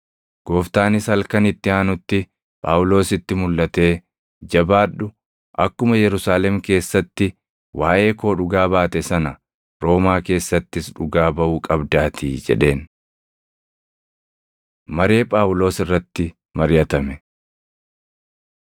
Gooftaanis halkan itti aanutti Phaawulositti mulʼatee, “Jabaadhu! Akkuma Yerusaalem keessatti waaʼee koo dhugaa baate sana Roomaa keessattis dhugaa baʼuu qabdaatii” jedheen. Maree Phaawulos irratti Mariʼatame